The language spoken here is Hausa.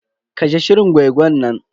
Kashe shirin gwai-gwan nan.